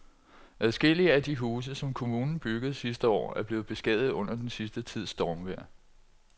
Adskillige af de huse, som kommunen byggede sidste år, er blevet beskadiget under den sidste tids stormvejr.